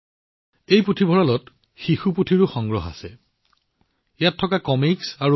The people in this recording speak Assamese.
এই পুথিভঁৰালত শিশুসকলৰ বাবে কিতাপ বাছনিৰ সম্পূৰ্ণ যত্ন লোৱা হৈছে